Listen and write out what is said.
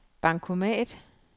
bankomat